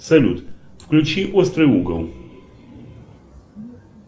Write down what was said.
салют включи острый угол